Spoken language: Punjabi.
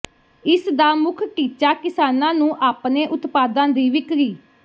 ਇਸ ਦਾ ਮੁਖ ਟੀਚਾ ਕਿਸਾਨਾਂ ਨੂੰ ਆਪਣੇ ਉਤਪਾਦਾਂ ਦੀ ਵਿਕਰੀ